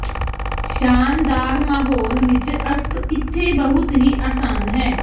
ਸ਼ਾਨਦਾਰ ਮਾਹੌਲ ਵਿੱਚ ਅਸਤ ਇੱਥੇ ਬਹੁਤ ਹੀ ਆਸਾਨ ਹੈ